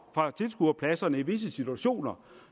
fra tilskuerpladserne i visse situationer